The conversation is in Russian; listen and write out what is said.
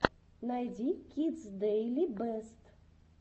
найди кидс дэйли бэст